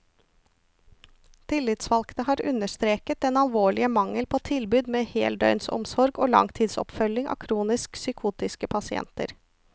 Tillitsvalgte har understreket den alvorlige mangel på tilbud med heldøgnsomsorg og langtidsoppfølging av kronisk psykotiske pasienter.